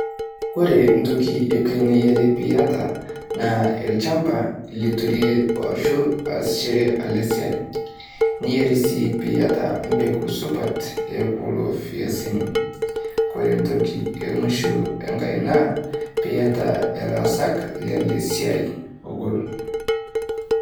Kore ntoki e kwe niyare piiata olchamba liturie ashuu asishore ele siai. Niyare sii piiata mbeegu supaat e kuloo mbiasini. Kore ntoki e muishoo ankaii naa piiata olaasak lele siai ogol.